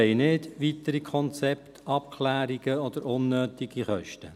Wir wollen keine weiteren Konzepte, Abklärungen oder unnötigen Kosten.